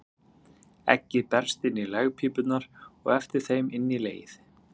Eggið berst inn í legpípurnar og eftir þeim inn í legið.